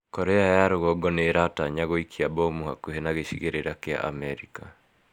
Korea ya Rũgongo nĩ ĩratanya gũikia mbomu hakuhĩ na gĩcigĩrĩra kĩa Amerika.